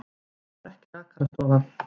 Þetta var ekki rakarastofa.